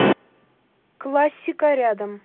классика рядом